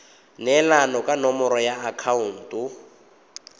neelana ka nomoro ya akhaonto